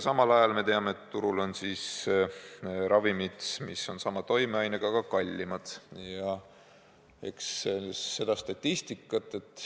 Samal ajal me teame, et turul on ka ravimid, mis on sama toimeainega, aga kallimad.